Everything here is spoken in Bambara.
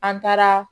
An taara